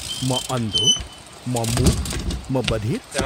म अन्धो, म मूक, म बधिर।